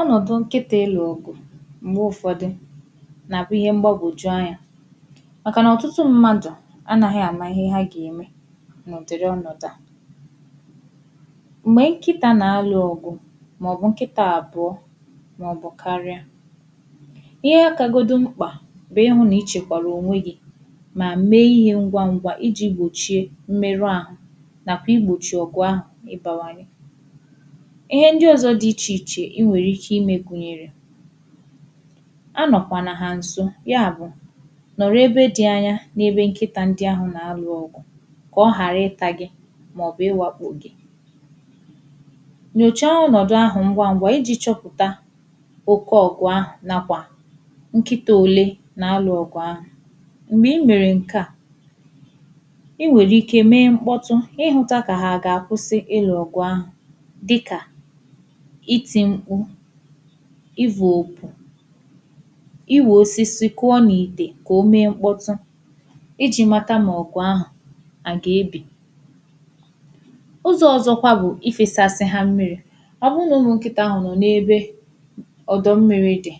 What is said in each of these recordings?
Ọnọdụ̀ nkịtị ịlụ ọgụ̀ m̄gbe ụfọdụ̀ nakwà ihe m̄gbagojù anya makà nà ọtụtụ mmadụ̀ anaghị̀ ama ihe ha ga-emè n’ụdịrị̀ ọ̣nọdụ à m̄gbe nkịtà na-alụ̀ ọgụ̀ maọ̀bụ̀ nkịtà abụọ̀ maọ̀bụ̀ karịà ihe kagodù m̄kpà n’ihụ̀ nà ichekwalụ̀ onwe gi ma mee ihe ngwa ngwà iji gbochie mmerù ahụ nakwà igbochi ọgụ̀ ahụ ịbawanye ihe ndị ọzọ̀ dị iche ichè i nwere ike ime gunyerè a nọkwanà ha nso, ya bụ̀ nọrọ̀ ebe dị anya n’ebe nkịtà ndị ahụ na-alụ ọgụ̀ ka ọ harị̀ ịta gi maọ̀bụ̀ ịwakpu gì nyocha ọnọdụ ahụ ngwa ngwà iji chọpụtà oke ọgụ̀ ahụ nakwà nkịtà ole na-alụ ọgụ̀ ahụ m̄gbe i mere nke à i nwere ike mee nkpọtụ̄ ka ịhụtà ka ha ga-akwụsị ịlụ̀ ọgụ̀ ahụ̀ dịkà iti m̄kpù ivu opù i wo osisi kụọ̀ n’ite ka ome nkpọtụ̄ iji matà mà ọgụ̀ ahụ a ga-ebì ụzọ ọzọkwà bụ̀ ifesasa ha mmiri ọ bụ na ụmụ nkịtà ahụ nọ n’ebe ọdọ mmiri dị̀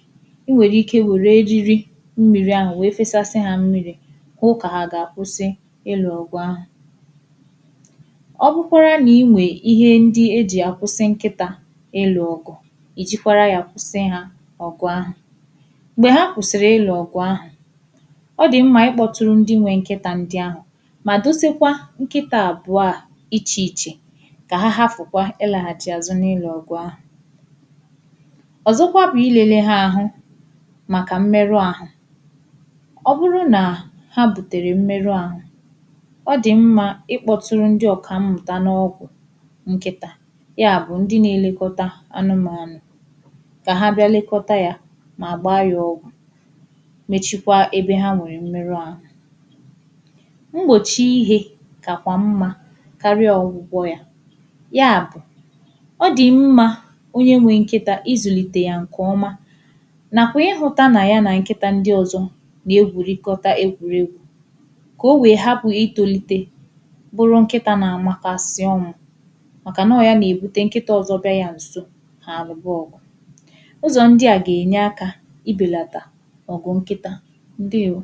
i nwere ike were ejiri mmiri ahù wee fesasa ha mmiri hụ ka ha ga-akwụsị̀ ịlụ̀ ọgụ ahụ ọ bụkwara na i nwe ihe ndị eji akwụsị nkịtà ịlụ̀ ọgụ̀ ijikwara ya kwụsị ha ọgụ̀ ahụ m̄gbe ha kwụsirị ịlụ̀ ọgụ̀ ahụ ọ dị ma ịkpọtụrụ ndị nwe nkịtà ndị ahụ ma dosekwà nkịtà abụọ à iche ichè ka ha hafụkwà ịlaghachì azụ̄ na-ịlụ̀ ọgụ̀ ahụ ọzọkwà bụ̀ ilele ha ahụ̀ makà mmeru ahụ̀ ọ bụrụ̀ na ha butere mmeru ahụ̀ ọ dị mma ịkpọtụrụ̀ ndị ọkammụtà n’ọgwụ̀ nkịtà ya bụ̀ ndị na-elekotà anụmanụ̀ ka ha bịà lekotà yà ma gbaa yà ọgwụ̀ mechikwà ebe ha nwere mmeru ahụ̀ m̄gbochi ihe kakwà mma karịà ọgwụgwọ̀ yà ya bụ̀ ọ dị mma onye nwe nkịtà, izulite ya nke ọmà nakwà ịhụtà na ya na nkịtà ndị̀ ọzọ̀ na-egwurikotà egwuregwù ka o wee hapụ̀ itolite bụrụ nkịtà na-amakasị̀ ọnwụ̀ makà na ọ ya na-ebute nkịtà ọzọ̀ bịa ya nsò ha alụba ọgụ̀ ụzọ ndị à ga-enye akà ibelatà ọgụ̀ nkịtà. Ndewo!